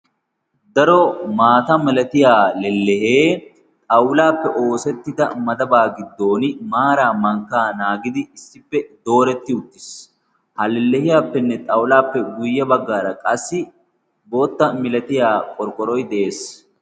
daro maata milatiyaa lellehee xawulaappe oosettida madabaa giddon maara mankkaa naagidi issippe dooretti uttiis. ha lellehiyaappenne xawulaappe guyye baggaara qassi bootta milatiya qorqqoroy de7ees.